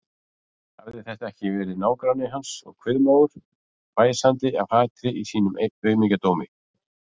Hafði þetta ekki verið nágranni hans og kviðmágur, hvæsandi af hatri í sínum aumingjadómi?